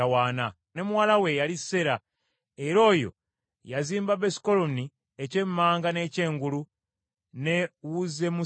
Ne muwala we yali Sera, era oyo yazimba Besukoloni ekya eky’emmanga n’eky’engulu, ne Uzzemmuseera.